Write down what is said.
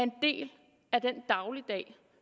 det af den dagligdag